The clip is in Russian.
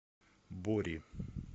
бори